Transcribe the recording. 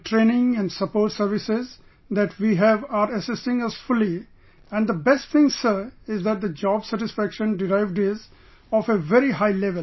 Our training and support services that we have are assisting us fully and the best thing, Sir, is that the job satisfaction derived is of a very high level